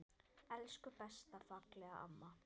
Elsku besta, fallega mamma.